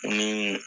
Ni